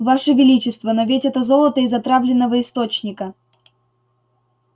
ваше величество но ведь это золото из отравленного источника